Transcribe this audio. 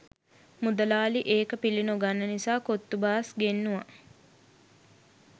මුදලාලි ඒක පිලි නොගන්න නිසා කොත්තු බාස් ගෙන්නුව.